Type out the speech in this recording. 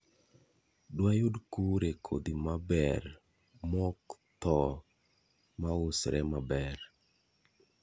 Dwayud kure kodhi maber mokthoo mausre maber?